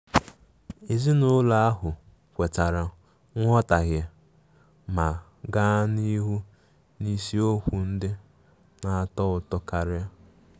Ezinụlọ ahụ kwetara nghọtahie ma gaa n'ihu n'isiokwu ndị na-atọ ụtọ karia.